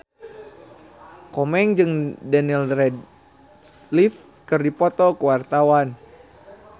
Komeng jeung Daniel Radcliffe keur dipoto ku wartawan